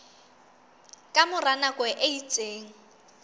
ka mora nako e itseng